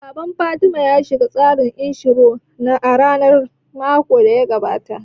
Baban Fatima ya shiga tsarin inshura na rayuwa makon da ya gabata